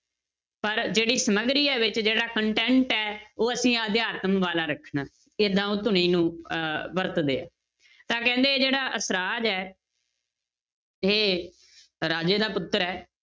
ਪਰ ਜਿਹੜੀ ਸਮਗਰੀ ਹੈ ਵਿੱਚ ਜਿਹੜਾ content ਹੈ ਉਹ ਅਸੀਂ ਹਜੇ ਵਾਲਾ ਰੱਖਣਾ, ਏਦਾਂ ਉਹ ਧੁਨੀ ਨੂੰ ਅਹ ਵਰਤਦੇ ਹੈ, ਤਾਂ ਕਹਿੰਦੇ ਜਿਹੜਾ ਅਸਰਾਜ ਹੈ ਇਹ ਰਾਜੇ ਦਾ ਪੁੱਤਰ ਹੈ,